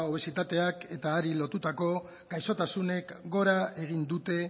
obesitateak eta berari lotutako gaixotasunek gora egin dute